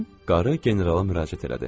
Qarı generala müraciət elədi.